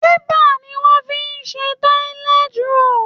Paper ni wọ́n fi ń ṣe tọ́lẹ́t róòlù